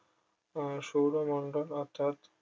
আহ সৌরমণ্ডল অর্থাৎ